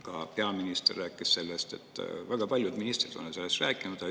Ka peaminister rääkis sellest, väga paljud ministrid on sellest rääkinud.